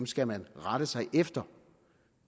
skal man rette sig efter